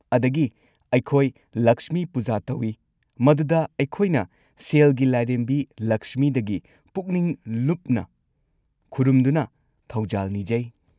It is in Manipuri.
ꯑꯗꯒꯤ, ꯑꯩꯈꯣꯏ 'ꯂꯛꯁꯃꯤ ꯄꯨꯖꯥ' ꯇꯧꯏ, ꯃꯗꯨꯗ ꯑꯩꯈꯣꯏꯅ ꯁꯦꯜꯒꯤ ꯂꯥꯏꯔꯦꯝꯕꯤ, ꯂꯛꯁꯃꯤꯗꯒꯤ ꯄꯨꯛꯅꯤꯡ ꯂꯨꯞꯅ ꯈꯨꯔꯨꯝꯗꯨꯅ ꯊꯧꯖꯥꯜ ꯅꯤꯖꯩ꯫